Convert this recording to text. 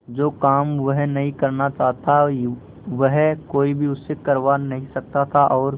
जो काम वह नहीं करना चाहता वह कोई भी उससे करवा नहीं सकता था और